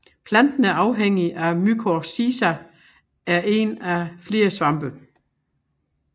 Planten er afhængig af mykorrhiza en én eller fler svampe